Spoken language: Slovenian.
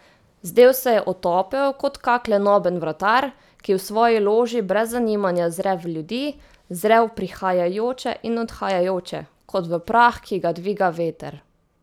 Zdel se je otopel kot kak lenoben vratar, ki v svoji loži brez zanimanja zre v ljudi, zre v prihajajoče in odhajajoče, kot v prah, ki ga dviga veter.